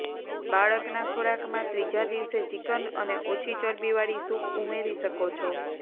બાળકના ખોરાકમાં ત્રીજા દિવસે ચિકન અને ઓછી ચરબીવાળી સૂપ ઉમેરી શકો છો